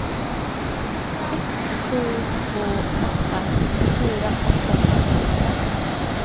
ett sju två åtta sextiofyra åttahundrafemtiofem